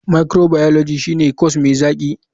Microbiology shine corse mai zaki.